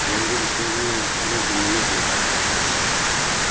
я им говорю что же вы медленно ехали так